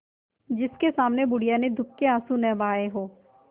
जिसके सामने बुढ़िया ने दुःख के आँसू न बहाये हां